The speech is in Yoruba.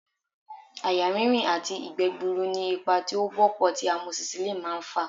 Àyà rínrìn àti ìgbẹ́ gbuuru ni ipa tí ó wọ́pọ̀ tí amosisilínì máà ń fà